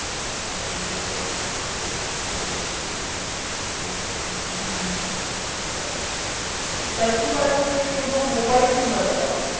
তাহলে আপনি চেষ্টা করতে পারেন যে এই কাসিফাই এর through আহ check করার